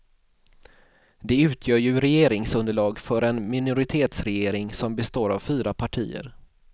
De utgör ju regeringsunderlag för en minoritetsregering som består av fyra partier.